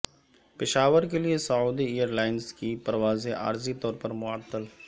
پشاور کے لیے Saudi Airlines کی پروازیں عارضی طور پر معطل